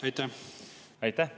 Aitäh!